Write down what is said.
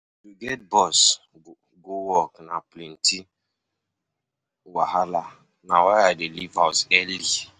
To get bus go work na plenty wahala, na why i dey leave house early.